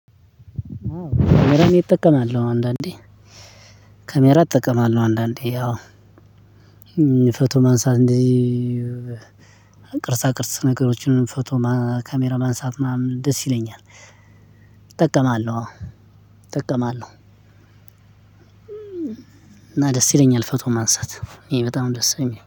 ካሜራ እኔ እጠቀማለሁ አንዳንዴ ካሜራ እጠቀማለሁ አንዳንዴ ያው ፎቶ ማንሳት እንዚ ቅርሳ ቅርስ ነገሮችን ፎቶ ካሜራ ማንሳት ምናምን ደስ ይለኛል። እጠቀማለሁ አዎ እጠቀማለሁ። እና ደስ ይለኛል ፎቶ ማንሳት ይኔ በጣም ደስ የሚለኝ